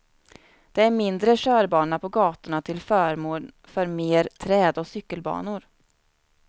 Det är mindre körbana på gatorna till förmån för mer träd och cykelbanor.